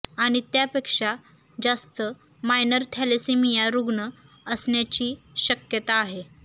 आणि त्यापेक्षा जास्त मायनर थॅलेसेमिया रुग्ण असण्याची शक्यता आहे